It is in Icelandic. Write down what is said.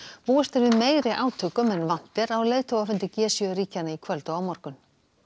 búist er við meiri átökum en vant er á leiðtogafundi g sjö ríkjanna í kvöld og á morgun